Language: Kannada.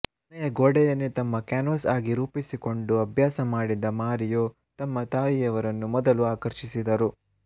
ಮನೆಯ ಗೋಡೆಯನ್ನೇ ತಮ್ಮ ಕ್ಯಾನ್ ವಾಸ್ ಆಗಿ ರೂಪಿಸಿಕೊಂಡು ಅಭ್ಯಾಸಮಾಡಿದ ಮಾರಿಯೊ ತಮ್ಮ ತಾಯಿಯವರನ್ನು ಮೊದಲು ಆಕರ್ಷಿಸಿದರು